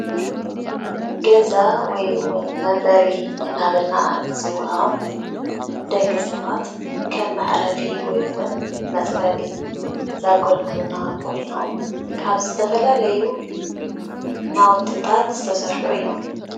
ገዛ ወይ እውን መንበሪ እናበልና እንፅውዖም ደቂሰባት ከም መዕረፊ ወይ እውን መፅለሊ ዘገልግሉና ኮይኖም ካብ ዝተፈላለዩ ናውትታት ዝተሰርሑ እዮም፡፡